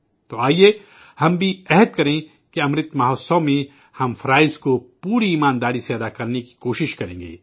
تو آیئے، ہم بھی عہد کریں کہ امرت مہوتسو میں ہم فرائض کو پوری ایمانداری سے نبھانے کی کوشش کریں گے